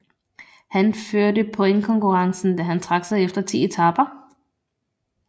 Han førte pointkonkurrencen da han trak sig efter ti etaper